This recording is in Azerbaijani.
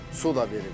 Su da verirdik.